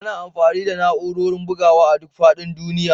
Ana amfani da na'urorin bugawa a duk faɗin duniya